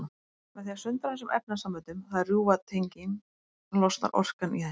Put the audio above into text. Með því að sundra þessum efnasamböndum, það er rjúfa tengin, losnar orkan í þeim.